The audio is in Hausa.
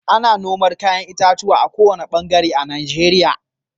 Ana noma 'ya'yan itatuwa a ko wane bangare na Najeriya.